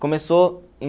Começou